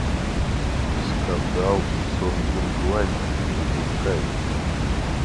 скандал в сонгюнгване запускай